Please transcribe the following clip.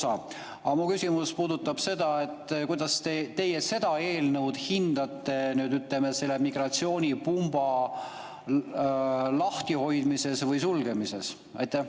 Aga mu küsimus puudutab seda, kuidas teie seda eelnõu hindate, ütleme, selle migratsioonipumba lahtihoidmise või sulgemise mõttes.